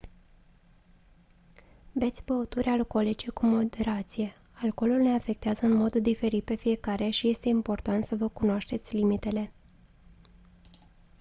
beți băuturi alcoolice cu moderație alcoolul ne afectează în mod diferit pe fiecare și este important să vă cunoașteți limitele